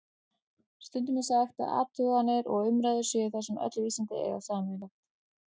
Stundum er sagt að athuganir og umræður séu það sem öll vísindi eiga sameiginlegt.